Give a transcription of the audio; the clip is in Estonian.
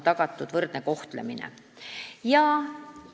Võrdne kohtlemine on tagatud.